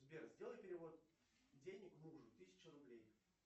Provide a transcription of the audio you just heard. сбер сделай перевод денег мужу тысяча рублей